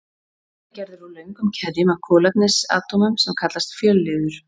borðinn er gerður úr löngum keðjum af kolefnisatómum sem kallast fjölliður